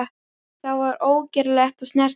Það var ógerlegt að snerta hana.